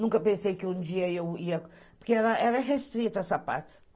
Nunca pensei que um dia eu ia... Porque era restrita essa parte.